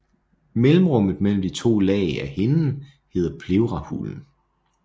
Mellemrummet mellem de to lag af hinden hedder pleurahulen